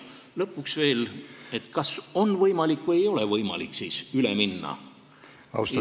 Lõpuks veel: kas siis on või ei ole võimalik üle minna?